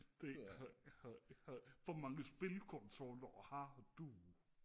hvor mange spilkonsoller har du